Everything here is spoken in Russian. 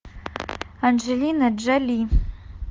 анджелина джоли